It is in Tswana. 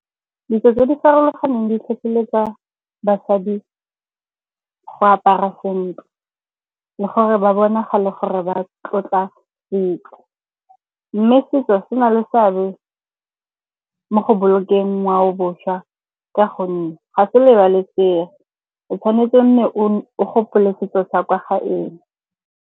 Ditso tse di farologaneng di tlhotlheletsa basadi go apara sentle le gore ba bonagale gore ba tlotla ntlo. Mme setso se na le seabe mo go bolokeng ngwaoboswa ka gonne ga se lebalesege. O tshwanetse o nne o gopole setso sa kwa gaeno.